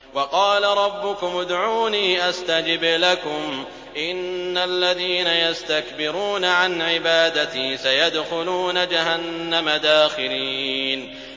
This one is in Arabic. وَقَالَ رَبُّكُمُ ادْعُونِي أَسْتَجِبْ لَكُمْ ۚ إِنَّ الَّذِينَ يَسْتَكْبِرُونَ عَنْ عِبَادَتِي سَيَدْخُلُونَ جَهَنَّمَ دَاخِرِينَ